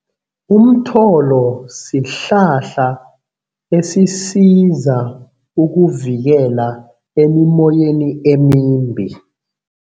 Umtholo sihlahla esisiza ukuvikela emimoyeni emimbi.